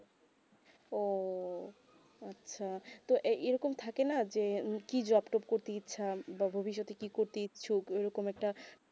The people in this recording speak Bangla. উহ আচ্ছা তো এই এইরকম থাকে না যে কি job তব করতে ইচ্ছা ভবিস তে কি করতে ইচ্ছুক এইরকম একটা